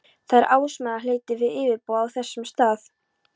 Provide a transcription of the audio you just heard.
Það er ársmeðalhitinn við yfirborð á þessum stað.